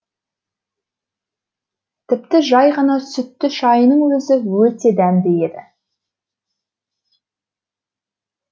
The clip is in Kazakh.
тіпті жай ғана сүтті шайының өзі өте дәмді еді